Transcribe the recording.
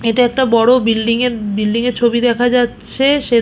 এটা একটা বড় বিল্ডিং -এর বিল্ডিং -এর ছবি দেখা যাচ্ছে। সে--